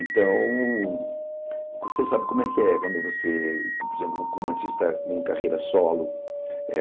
Então, você sabe como é que é quando você, por exemplo, como artista com carreira solo, é...